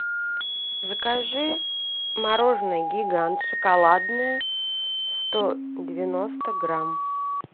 закажи мороженное гигант шоколадное сто девяносто грамм